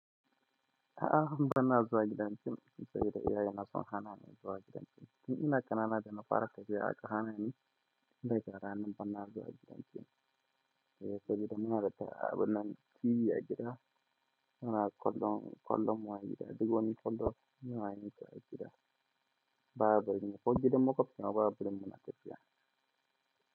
A'a kam bana zuwa gidan fim, sabida iyaye na sun hana ni zuwa gidan fim. Tun ina ƙanana da na fara tafiya aka hana ni. Da rana banna zuwa gidan gym. Saboda muna da abinnan tv a gida. Muna kullum, kullum waɗi gida. Duk wani kullum munayi ta a gida. Babu ran ko gidan maƙwafta, Babu randa nake zuwa.